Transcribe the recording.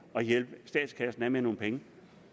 at hjælpe statskassen af med nogle penge